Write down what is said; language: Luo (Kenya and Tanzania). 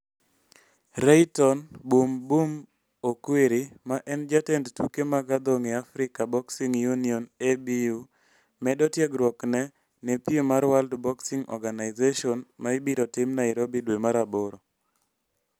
Rayton 'Boom Boom' Okwiri, ma en jatend tuke mag adhong' e Africa Boxing Union (ABU) medo tiegruokne ne piem mar World Boxing Organization ma ibiro tim Nairobi dwe mar aboro.